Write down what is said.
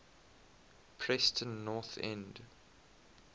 preston north end